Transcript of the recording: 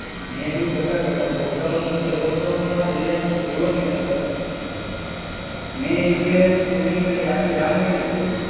મેં કીધું કાકા તમે લોકડાઉન, મને કેય લોકડાઉનમાં રિલાયન્સ જીઓની અંદર મેં ઈ કે, તું ની માન કે આખી રામાયણ જોઈ